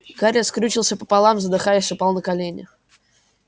гарри скрючился пополам задыхаясь упал на колени